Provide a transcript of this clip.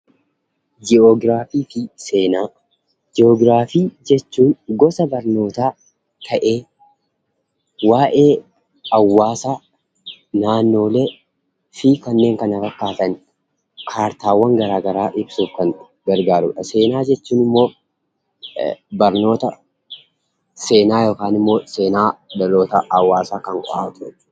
Ji'oogiraafii fi Seenaa: Ji'oogiraafii jechuun gosa barnootaa ta'ee waa'ee hawwaasaa, naannoolee fi kanneen kana fakkaatan kaartaawwan gara gara a ibsuuf kan gargaarudha. Seenaa jechuun immoo barnoota seenaa yookaan seenaa hawwaasaa kan qo'atudha.